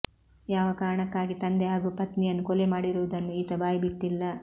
ಯಾವ ಕಾರಣಕ್ಕಾಗಿ ತಂದೆ ಹಾಗೂ ಪತ್ನಿಯನ್ನು ಕೊಲೆ ಮಾಡಿರುವುದನ್ನು ಈತ ಬಾಯಿಬಿಟ್ಟಿಲ್ಲ